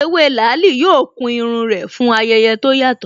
Ewé làálí yóò kun irun rẹ̀ fún ayẹyẹ tó yàtọ̀